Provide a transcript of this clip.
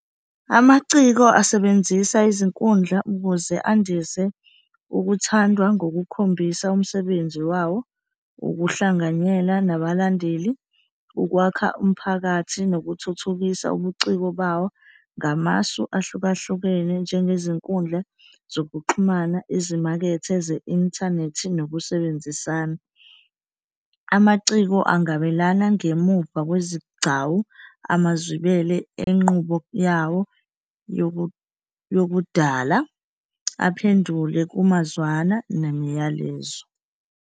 Amaciko asebenzisa izinkundla ukuze andise ukuthandwa ngokukhombisa umsebenzi wawo, ukuhlanganyela nabalandeli, ukwakha umphakathi nokuthuthukisa ubuciko bawo ngamasu ahlukahlukene, njengezinkundla zokuxhumana, izimakethe ze-inthanethi nokusebenzisana. Amaciko angabelana ngemuva kwezigcawu amazwibele enqubo yawo yokudala, aphendule kumazwana nemiyalezo.